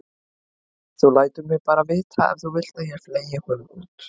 Þú lætur mig bara vita ef þú vilt að ég fleygi honum út.